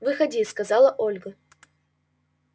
выходи сказала ольга